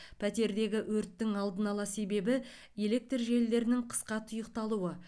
пәтердегі өрттің алдын ала себебі электр желілерінің қысқа тұйықталуы